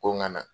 Ko n ka na